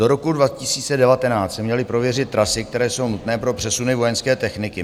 Do roku 2019 se měly prověřit trasy, které jsou nutné pro přesuny vojenské techniky.